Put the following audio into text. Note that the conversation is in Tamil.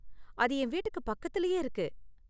அது என் வீட்டுக்கு பக்கத்துலயே இருக்கு.